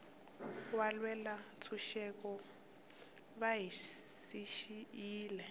valwela ntshuxeko va hi siyile